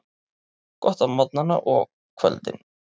Gott á morgnana og kvöldin.